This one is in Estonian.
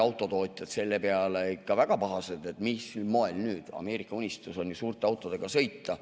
Autotootjad olid selle peale küll ikka väga pahased, et mil moel nüüd, Ameerika unistus on ju suurte autodega sõita.